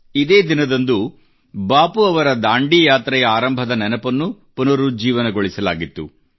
ಇದೇ ದಿನದಂದು ಬಾಪು ಅವರ ದಾಂಡಿ ಯಾತ್ರೆಯ ಆರಂಭದ ನೆನಪನ್ನೂ ಪುನರುಜ್ಜೀವನಗೊಳಿಸಲಾಗಿತ್ತು